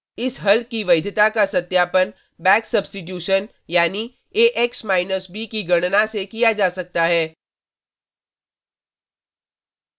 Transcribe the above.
इस हल की वैधता का सत्यापन बैक सब्स्टिटूशन back substitution यानी axb की गणना से किया जा सकता है: